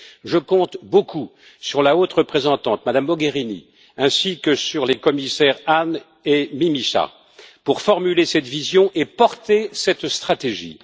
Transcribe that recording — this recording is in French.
Je compte beaucoup sur la haute représentante, Mme Mogherini, ainsi que sur les commissaires Hahn et Mimica pour formuler cette vision et porter cette stratégie.